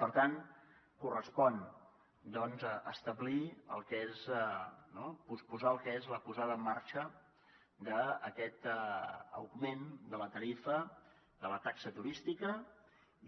per tant correspon establir el que és no posposar el que és la posada en marxa d’aquest augment de la tarifa de la taxa turística